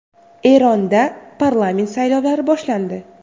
Eronda parlament saylovlari boshlandi.